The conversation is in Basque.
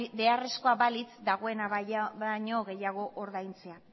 beharrezkoa balitz dagoena baino gehiago ordaintzea